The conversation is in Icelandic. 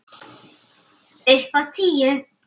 Upp á tíu.